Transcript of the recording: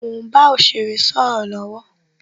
Mo ń bá òsèré sọ̀rọ̀ lọwọ